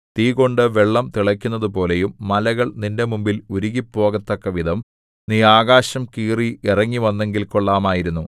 തീകൊണ്ട് വെള്ളം തിളക്കുന്നതുപോലെയും മലകൾ നിന്റെ മുമ്പിൽ ഉരുകിപ്പോകത്തക്കവിധം നീ ആകാശം കീറി ഇറങ്ങിവന്നെങ്കിൽ കൊള്ളാമായിരുന്നു